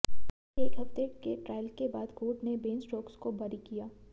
एक हफ्ते के ट्रायल के बाद कोर्ट ने बेन स्टोक्स को बरी किया